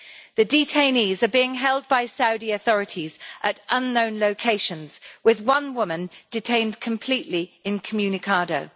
The detainees are being held by Saudi authorities at unknown locations, with one woman detained completely incommunicado.